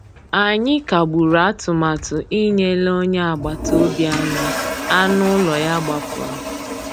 Ànyị́ kàgbùrụ́ àtụ̀màtụ́ ìnyélè ónyé àgbàtà òbí ànyị́ ànú ụ́lọ́ yá gbàpùrụ́.